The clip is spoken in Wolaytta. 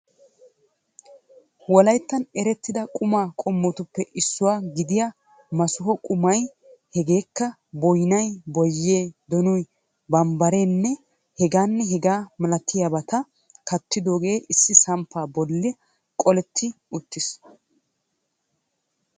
wolaytta erettida quma qommotuppe issuwa gidiyaa massuha qumay hegekka boynnay, boyye, donoy, bambbarenne heganne hegaa malatiyaabata kattidooge issi samppa bolla qoletti uttiis.